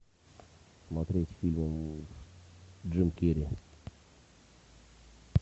смотреть фильм джим керри